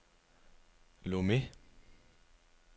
Lomé